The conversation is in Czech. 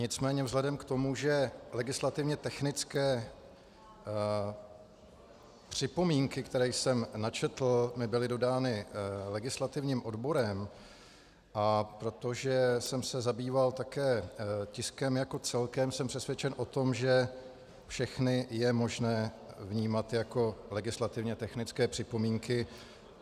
Nicméně vzhledem k tomu, že legislativně technické připomínky, které jsem načetl, mi byly dodány legislativním odborem, a protože jsem se zabýval také tiskem jako celkem, jsem přesvědčen o tom, že všechny je možné vnímat jako legislativně technické připomínky.